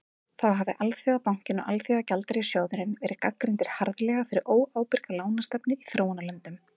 þá hafa alþjóðabankinn og alþjóðagjaldeyrissjóðurinn verið gagnrýndir harðlega fyrir óábyrga lánastefnu í þróunarlöndum